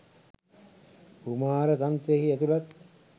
කුමාර තන්ත්‍රයෙහි ඇතුළත්